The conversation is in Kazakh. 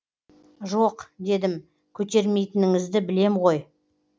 жоқ дедім көтермейтініңізді білем ғой